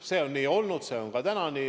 See on nii varem olnud ja on ka täna nii.